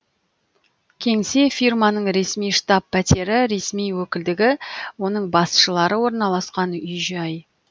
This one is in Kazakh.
кеңсе фирманың ресми штаб пәтері ресми өкілдігі оның басшылары орналасқан үй жай